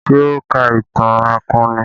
Ṣé o ka ìtàn akọni?